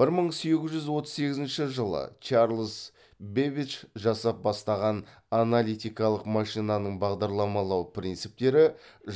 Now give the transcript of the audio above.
бір мың сегіз жүз отыз сегізінші жылы чарльз бэббидж жасап бастаған аналитикалық машинаның бағдарламалау принциптері